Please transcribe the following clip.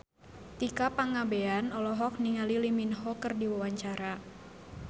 Tika Pangabean olohok ningali Lee Min Ho keur diwawancara